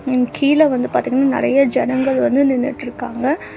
ம் கீழ வந்து பாத்தீங்கனா நெறையா ஜனங்கள் வந்து நின்னுட்ருக்காங்க.